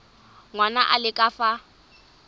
ngwana a le ka fa